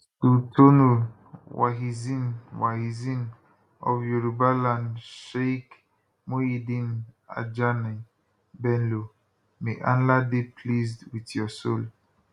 sultonul wahizeen wahizeen of yorubaland sheikh muhyideen ajani bello may allah dey pleased wit your soul